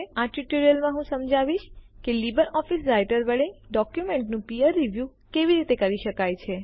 આ ટ્યુટોરીયલમાં હું સમજાવીશ કે લીબર ઓફીસ રાઈટર વડે ડોક્યુમેન્ટોનું પીયર રીવ્યૂ બારીક સમીક્ષા કેવી રીતે કરી શકાય છે